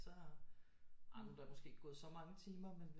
Så amen der er måske ikke gået så mange timer men